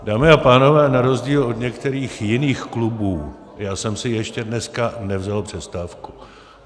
Dámy a pánové, na rozdíl od některých jiných klubů já jsem si ještě dneska nevzal přestávku.